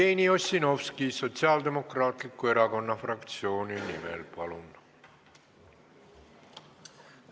Jevgeni Ossinovski Sotsiaaldemokraatliku Erakonna fraktsiooni nimel, palun!